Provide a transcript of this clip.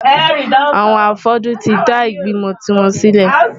Àwọn afọ́jú tí dá ìgbìmò tiwọn sílẹ̀.